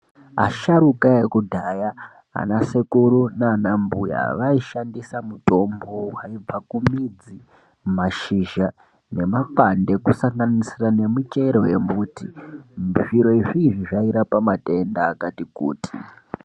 Asharukwa vekudhaya ana sekuru nana mbuya vaishandisa mitombo yepakumidzi mashizha nemakwande kusanganisira nemachero embuti zviro izvi zvairapa matenda akati kuti.